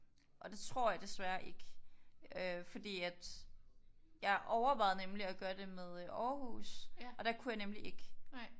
Og det tror jeg desværre ikke øh fordi at jeg overvejede nemlig at gøre det med øh Aarhus og der kunne jeg nemlig ikke